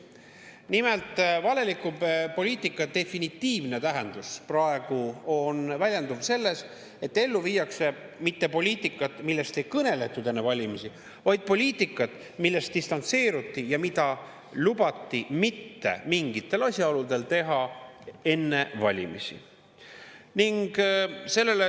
Nimelt, valeliku poliitika definitiivne tähendus praegu väljendub selles, et ellu viiakse poliitikat, millest mitte üksnes ei kõneletud enne valimisi, vaid millest distantseeruti ja millest lubati mitte mingitel asjaoludel rääkida enne valimisi.